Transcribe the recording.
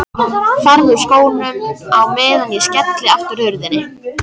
Farðu úr skónum á meðan ég skelli aftur hurðinni.